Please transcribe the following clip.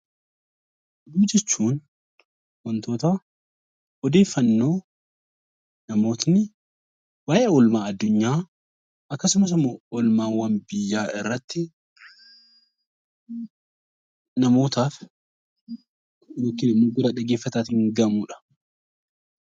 Oduu jechuun wantoota odeeffannoo namootni waayee oolmaa addunyaa akkasumas immoo oolmaawwan biyyaa irratti namootaaf yookiin immoo gurra dhaggeeffataatiin ga'amuu dha.